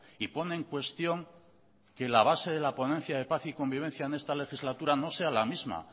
y pone en cuestión que la base de la ponencia de paz y convivencia en esta legislatura no sea la misma